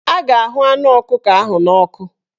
A ga-ahụ anụ ọkụkọ ahụ n'ọkụ